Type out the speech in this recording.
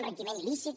enriquiment il·lícit